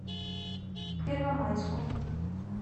первомайску